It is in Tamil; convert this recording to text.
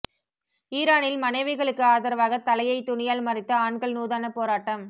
ஈரானில் மனைவிகளுக்கு ஆதரவாக தலையை துணியால் மறைத்து ஆண்கள் நூதன போராட்டம்